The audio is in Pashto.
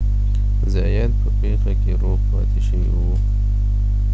زایات په پیښه کې روغ پاتې شوی و